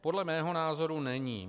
Podle mého názoru není.